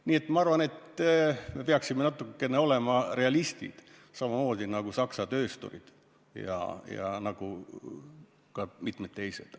Nii et ma arvan, et me peaksime olema natuke rohkem realistid, samamoodi nagu on Saksa töösturid ja ka mitmed teised.